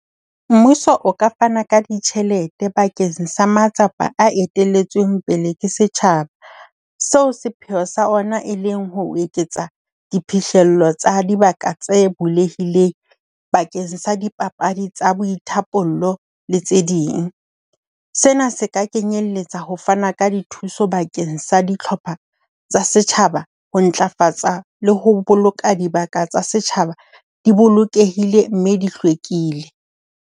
Mmuso o ka fana ka ditjhelete bakeng sa matsapa a etelletsweng pele ke setjhaba seo sepheo sa ona e leng ho eketsa diphihlello tsa dibaka tse bulehileng bakeng sa dipapadi tsa boithapollo le tse ding. Sena se ka kenyelletsa ho fana ka dithuso bakeng sa dihlopha tsa setjhaba ho ntlafatsa le ho boloka dibaka tsa setjhaba, di bolokehile mme di hlwekile.